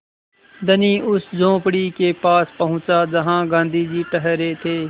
धनी उस झोंपड़ी के पास पहुँचा जहाँ गाँधी जी ठहरे थे